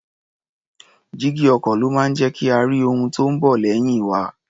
Jígí ọkọ̀ ló máa ń jẹ́ kí a rí ohun tí ó ń bọ̀ lẹ́yìn wa.